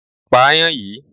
Pa ayan yìí!